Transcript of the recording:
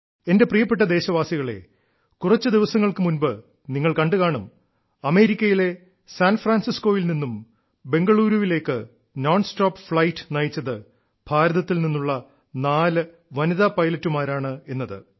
എന്റെ പ്രിയപ്പെട്ട ദേശവാസികളേ കുറച്ചു ദിവസങ്ങൾക്കു മുൻപ് നിങ്ങൾ കണ്ടുകാണും അമേരിക്കയിലെ സാൻഫ്രാൻസിസ്കോയിൽ നിന്നും ബംഗളൂരുവിലേക്ക് നോൺ സ്റ്റോപ്പ് ഫ്ളൈറ്റ് നയിച്ചത് ഭാരതത്തിൽ നിന്നുള്ള നാല് വനിതാ പൈലറ്റുമാരാണ് എന്നത്